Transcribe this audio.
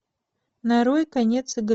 нарой конец